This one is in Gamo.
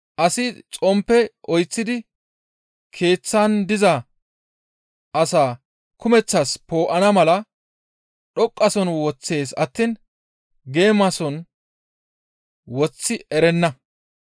Asi xomppe oyththidi keeththan diza asaa kumeththaas poo7ana mala dhoqqasohon woththees attiin geemasohon woththi erenna.